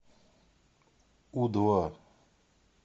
у два